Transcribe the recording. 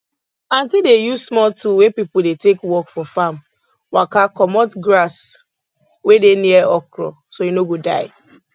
aunti dey use small tool wey people dey take work for farm waka comot grass wey dey near okro so e no go die